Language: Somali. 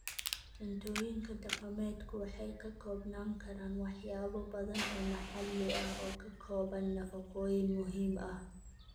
Cuntooyinka dhaqameedku waxay ka koobnaan karaan waxyaabo badan oo maxalli ah oo ka kooban nafaqooyin muhiim ah.